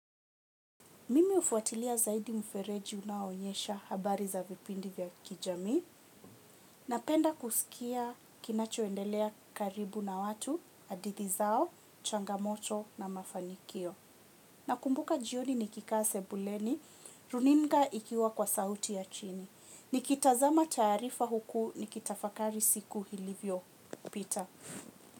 Mimi hufuatilia zaidi mfereji unaoonyesha habari za vipindi vya kijamii. Napenda kusikia kinachoendelea karibu na watu, hadithi zao, changamoto na mafanikio. Nakumbuka jioni nikikaa sebuleni, runinga ikiwa kwa sauti ya chini. Nikitazama taarifa huku nikitafakari siku ilivyopita.